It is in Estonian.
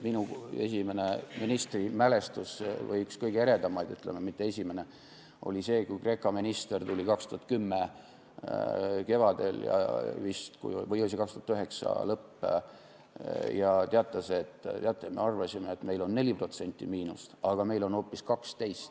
Minu esimene ministrimälestus oli see, kui Kreeka minister tuli vist 2010. aasta kevadel või 2009. aasta lõpus ja teatas, et teate, me arvasime, et meil on 4% miinust, aga on hoopis 12%.